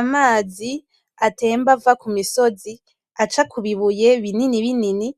Amazi atemba ava kumisozi aca kubibuye binini binini